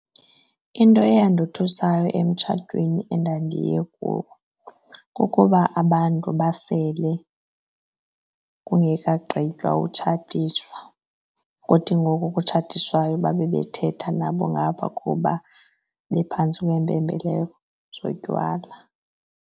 Into eyandothusayo emtshatweni endandiye kuwo kukuba abantu basele kungekagqitywa utshatiswa. Kuthi ngoku kutshatiswayo babe bethetha nabo ngapha kuba bephantsi kweempembelelo zotywala.